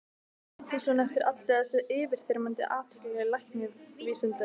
Sóttist hún eftir allri þessari yfirþyrmandi athygli læknavísindanna?